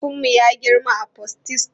Mahaifinmu ya girma a Potistum.